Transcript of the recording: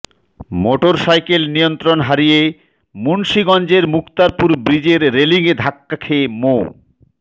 motorcycle নিয়ন্ত্রণ হারিয়ে মুন্সীগঞ্জের মুক্তারপুর ব্রিজের রেলিংয়ে ধাক্কা খেয়ে মো